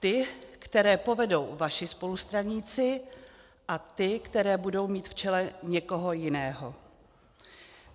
Ty, které povedou vaši spolustraníci, a ty, které budou mít v čele někoho jiného.